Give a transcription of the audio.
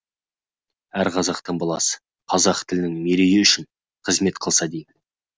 әр қазақтың баласы қазақ тілінің мерейі үшін қызмет қылса деймін